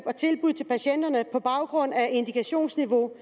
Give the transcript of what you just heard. og tilbud til patienterne på baggrund af indikationsniveau